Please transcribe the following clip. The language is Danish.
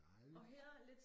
Dejligt